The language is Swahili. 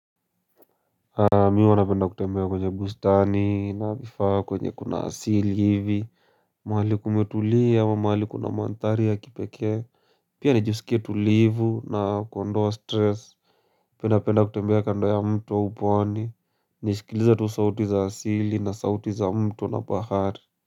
Mimi huwa napenda kutembea kwenye bustani na bifaa kwenye kuna asili hivi mahali kumetulia ama mahali kuna mandhari ya kipekee Pia nijisikie tulivu na kuondoa stress napenda penda kutembea kando ya mtu wa pwani nisikilize tu sauti za asili na sauti za mto na bahari.